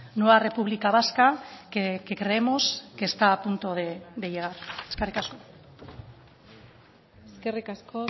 nueva república vasca que creemos que está a punto de llegar eskerrik asko eskerrik asko